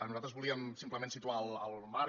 nosaltres volíem simplement situar el marc